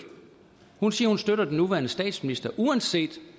hun siger at hun støtter den nuværende statsminister uanset